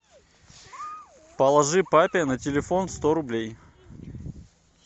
положи папе на телефон сто рублей